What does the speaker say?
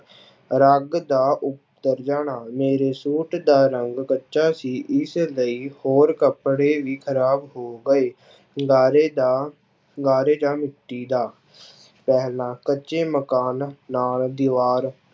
ਰੰਗ ਦਾ ਉੱਤਰ ਜਾਣਾ, ਮੇਰੇ ਸੂਟ ਦਾ ਰੰਗ ਕੱਚਾ ਸੀ ਇਸ ਲਈ ਹੋਰ ਕੱਪੜੇ ਵੀ ਖ਼ਰਾਬ ਹੋ ਗਏ ਗਾਰੇ ਜਾਂਂ ਗਾਰੇ ਜਾਂ ਮਿੱਟੀ ਦਾ ਪਹਿਲਾਂ ਕੱਚੇ ਮਕਾਨ ਨਾਲ ਦੀਵਾਰ